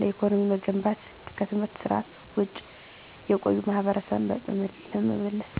ለኢኮኖሚ መገንባት 3. ከትምህርት ስርዓት ውጭ የቆዩ ማሀበረሰብን በመመለስ።